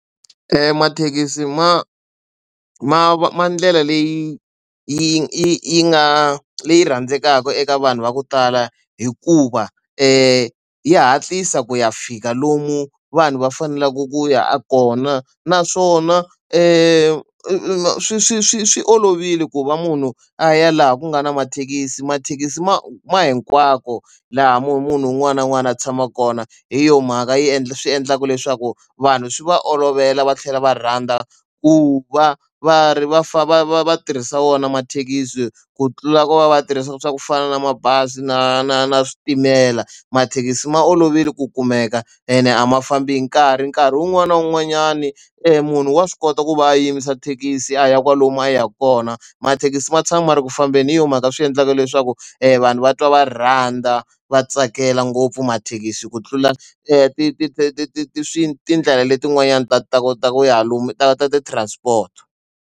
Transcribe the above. mathekisi ma ma ma ndlela leyi yi nga leyi rhandzekaka eka vanhu va ku tala hikuva yi ya hatlisa ku ya fika lomu vanhu va faneleke ku ya kona naswona i swi swi swi swi olovile ku va munhu a ya laha ku nga na mathekisi mathekisi ma ma hinkwako laha munhu munhu un'wana na un'wana a tshama kona hi yo mhaka yi endla swi endlaka leswaku vanhu swi va olovela va tlhela va rhandza ku va va ri va fa va tirhisa wona mathekisi ku tlula ku va va tirhisa swa ku fana na mabazi na na na switimela mathekisi ma olovile ku kumeka ene a ma fambi hi nkarhi nkarhi wun'wani na wun'wanyani munhu wa swi kota ku va a yimisa thekisi a ya kwalomu a yaka kona mathekisi ma tshama ma ri ku fambeni hi yo mhaka swi endlaka leswaku vanhu va twa va rhandza va tsakela ngopfu mathekisi hi ku tlula ti ti ti ti ti ti ti ti tindlela letin'wanyani ti ta kota ku ya lomu ta ta ti transport.